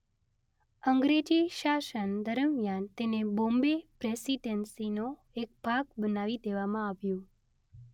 અંગ્રેજી શાસન દરમિયાન તેને બોમ્બે પ્રેસિડેંસીનો એક ભાગ બનાવી દેવામાં આવ્યું.